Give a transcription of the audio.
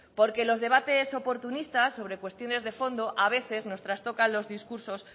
porque los debates oportunistas sobre cuestiones de fondo a veces nos trastoca los discursos